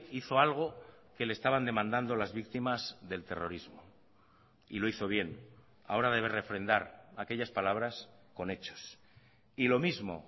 hizo algo que le estaban demandando las víctimas del terrorismo y lo hizo bien ahora debe refrendar aquellas palabras con hechos y lo mismo